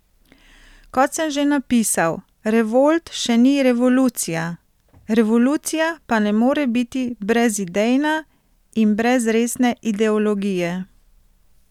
Kot sem že napisal, revolt še ni revolucija, revolucija pa ne more biti brezidejna in brez resne ideologije.